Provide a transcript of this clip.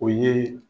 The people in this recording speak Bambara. O ye